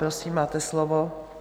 Prosím, máte slovo.